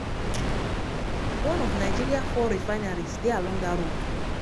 one of nigeria four refineries dey along dat road.